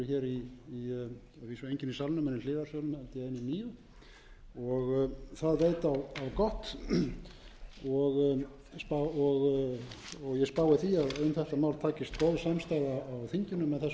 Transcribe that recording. í hliðarsölum held ég einir níu og það veit á gott og ég spái því að um þetta mál takist góð samstaða á þinginu með þessum öfluga stuðningi sem ég veit að